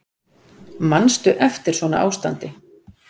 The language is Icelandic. Manstu eftir svona ástandi?